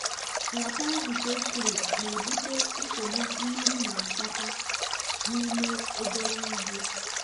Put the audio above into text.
nrapara nke clay na-ebute nsogbu mmiri na-akpata n'ime obere ugbo.